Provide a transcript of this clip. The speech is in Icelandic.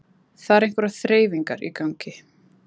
Það eru einhverjar þreifingar í gangi